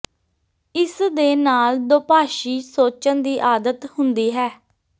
ਇਸ ਦੇ ਨਾਲ ਦੋਭਾਸ਼ੀ ਸੋਚਣ ਦੀ ਆਦਤ ਹੁੰਦੀ ਹੈ